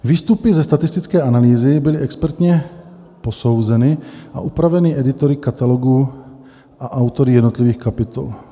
Výstupy ze statistické analýzy byly expertně posouzeny a upraveny editory Katalogu a autory jednotlivých kapitol.